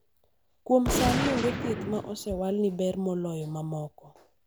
kuom sani onge thieth ma osewal ni ber moloyo mamoko